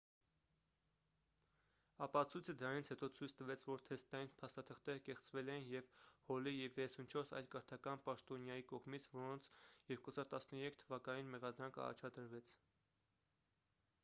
ապացույցը դրանից հետո ցույց տվեց որ թեստային փաստաթղթերը կեղծվել էին և հոլի և 34 այլ կրթական պաշտոնյայի կողմից որոնց 2013 թվականին մեղադրանք առաջադրվեց